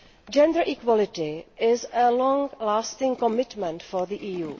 Gender equality is a long lasting commitment for the EU.